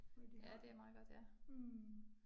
Men de har mh